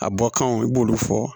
A bɔ kanw i b'olu fɔ